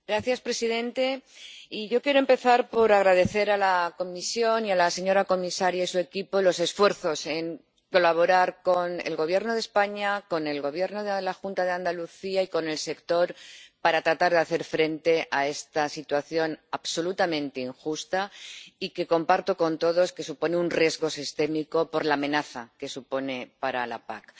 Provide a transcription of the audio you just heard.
Señor presidente, yo quiero empezar por agradecer a la Comisión y a la señora comisaria y a su equipo los esfuerzos en colaborar con el Gobierno de España, con el Gobierno de la Junta de Andalucía y con el sector para tratar de hacer frente a esta situación absolutamente injusta, y que comparto con todos que supone un riesgo sistémico, por la amenaza que supone para la PAC.